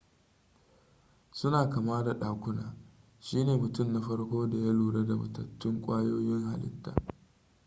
suna kama da ɗakuna shi ne mutum na farko da ya lura da matattun ƙwayoyin halittaa